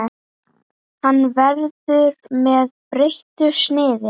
Hann verður með breyttu sniði.